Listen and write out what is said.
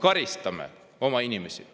Aitäh!